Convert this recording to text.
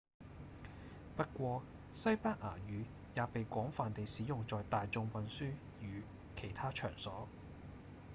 不過西班牙語也被廣泛地使用在大眾運輸與其他場所